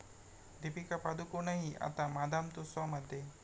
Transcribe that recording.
दिपिका पदुकोणही आता 'मादाम तुसाँ'मध्ये